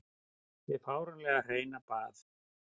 Hið fáránlega hreina bað.